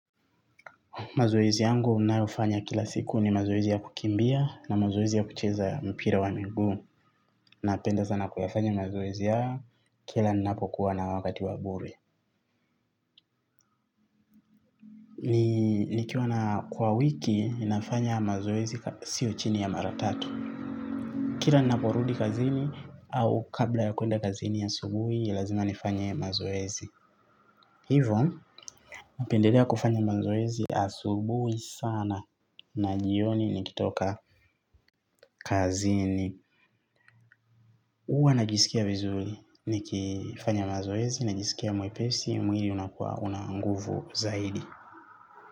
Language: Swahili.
Mazoezi yangu nayofanya kila siku ni mazoezi ya kukimbia na mazoezi ya kucheza mpira wa migu. Napenda sana kuyafanya mazoezi ya kila ninapokuwa na wakati wa bure. Nikiwa na kwa wiki, ninafanya mazoezi sio chini ya maratatu. Kila ninaporudi kazini au kabla ya kuenda kazini ya asubuhi, lazima nifanye mazoezi. Hivo, napendelea kufanya mazoezi asubuhi sana na jioni nikitoka kazini. Uwa najisikia vizuri nikifanya mazoezi, najisikia mwepesi, mwili unakuwa una nguvu zaidi.